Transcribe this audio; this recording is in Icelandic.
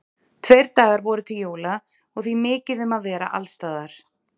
Tveir dagar voru til jóla og því mikið um að vera alls staðar.